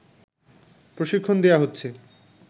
প্রশিক্ষণ দেয়া হচ্ছে